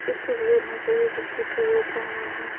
इस तस्वीर में सभी कुर्सी पे बैठे हुए हैं।